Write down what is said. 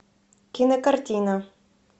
кинокартина